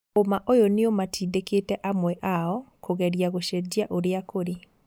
ũma ũyũ nĩũmatindĩkĩte amwe ao kũgeria gũcejia ũrĩa kũrĩ.